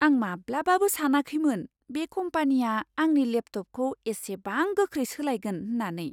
आं माब्लाबाबो सानाखैमोन बे कम्पानिया आंनि लेपटपखौ एसेबां गोख्रै सोलायगोन होननानै।